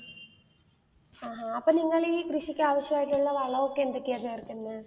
ആഹാ, അപ്പ നിങ്ങൾ ഈ കൃഷിക്ക് ആവശ്യമായിട്ടുള്ള വളം ഒക്കെ എന്തൊക്കെയാ ചേർക്കുന്നേ